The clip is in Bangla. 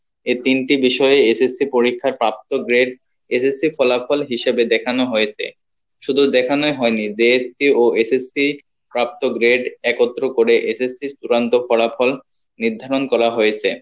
এই তিনটি বিষয়ে SSC পরীক্ষার প্রাপ্ত grade SSC ইর ফলাফল হিসেবে দেখানো হয়েছে শুধু দেখানোই হয়নি JSC ও SSC প্রাপ্ত grade একত্র করে SSC ইর চুড়ান্ত ফলাফল নির্ধারণ করা হয়েছে